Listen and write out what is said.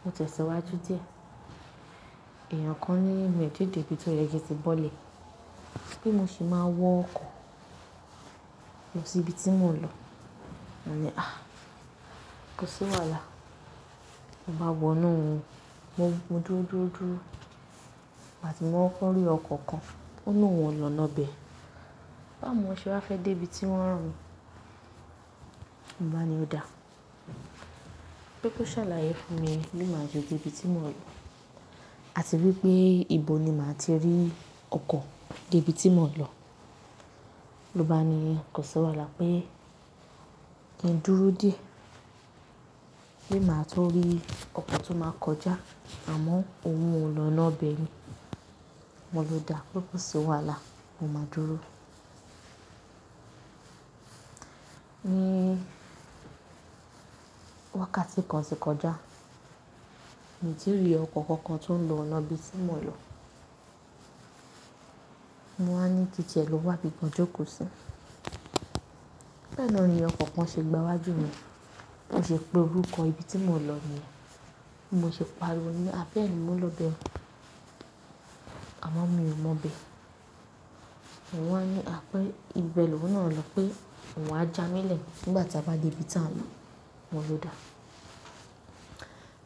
mo tẹ̀síwájú díẹ̀, èèyàn kan ní mi ò tíì dé ibi tí ó yẹ kí n tí bọ́lẹ̀, pé mo sì máa wọ ọkọ̀ lọ sí ibi tí mò ń lọ. Mo ní, "A! Ko sí wàhálà." Mo bá wọ inú, mo dúró, dúró, dúró. Nígbà tí mo kọ́kọ́ rí ọkọ̀ kan, óní òun ò lọ ọ̀na ibẹ̀. Bá mu ṣe wá fẹ́ dé ibi tí wọ́n rán mi, mo bá ní ó dá, pé kó ṣàlàyé fún mi bí màá ṣe dé ibi tí mò ń lọ àti wípé ibo ni màá ti rí ọkọ̀ dé ibi tí mò ń lọ. Ó bá ní kó sí wàhálà pé kí n dúró díẹ̀, pé màá tún rí ọkọ̀ tí ó máa kọjá àmọ́ òun ò l’ọ̀na ibẹ̀ mi. Mo ló dá pé kó si wàhálà, mo máa dúró. Ní wákàtí kan sí ìkọjá, mi ò tí rí ọkọ̀ kankan tó ń lọ ọ̀na ibi tí mò ń lọ. Mo wá ní kí n ti ẹ̀ ló wá bí kan jókòó sí. Bẹ́ẹ̀ náà ni ọkọ̀ kan ṣe gbà wájú mi, bí mo ṣe pe orúkọ ibi tí mò ń lọ nìyẹn. Mo ṣe pariwo ní, "A bẹ́ẹ̀ni mò ń lọ ibẹ̀ o." Àmọ́ mi ò mọ̀ bẹ́ẹ̀. Wọ́n á ní, "A pé ibẹ̀ lòún náà ń lọ pé òun á jámiílẹ̀ nígbà tí a bá dé ibi tí à ń lọ." Mo ló dá.